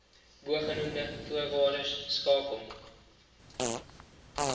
bogenoemde voorwaardes skakel